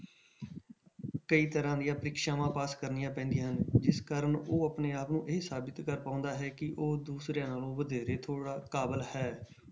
ਕਈ ਤਰ੍ਹਾਂ ਦੀਆਂ ਪ੍ਰੀਖਿਆਵਾਂ pass ਕਰਨੀਆਂ ਪੈਂਦੀਆਂ ਹਨ ਜਿਸ ਕਾਰਨ ਉਹ ਆਪਣੇ ਆਪ ਨੂੰ ਇਹ ਸਾਬਿਤ ਕਰ ਪਾਉਂਦਾ ਹੈ ਕਿ ਉਹ ਦੂਸਰਿਆਂ ਨਾਲੋਂ ਵਧੇਰੇ ਥੋੜ੍ਹਾ ਕਾਬਿਲ ਹੈ।